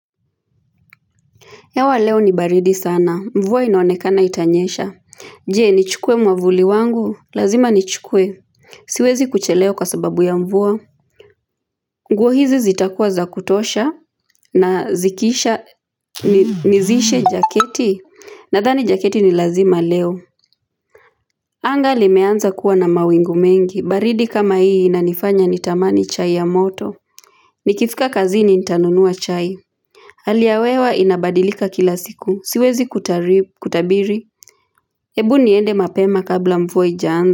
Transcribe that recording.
Hewa leo ni baridi sana. Mvua inoonekana itanyesha. Je, nichukue mwavuli wangu. Lazima nichukue. Siwezi kuchelewa kwa sababu ya mvua. Nguo hizi zitakuwa za kutosha na zikisha nizishe jaketi. Nathani jaketi ni lazima leo. Anga limeanza kuwa na mawingu mengi. Baridi kama hii inanifanya nitamani chai ya moto. Nikifika kazini nitanunua chai. Hali ya hewa inabadilika kila siku. Siwezi kutabiri hebu niende mapema kabla mfua haijaanza.